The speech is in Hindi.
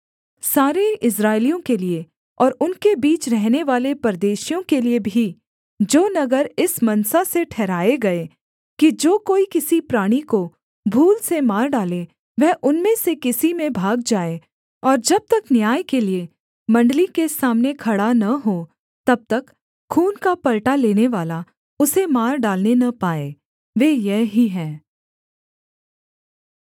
सारे इस्राएलियों के लिये और उनके बीच रहनेवाले परदेशियों के लिये भी जो नगर इस मनसा से ठहराए गए कि जो कोई किसी प्राणी को भूल से मार डाले वह उनमें से किसी में भाग जाए और जब तक न्याय के लिये मण्डली के सामने खड़ा न हो तब तक खून का पलटा लेनेवाला उसे मार डालने न पाए वे यह ही हैं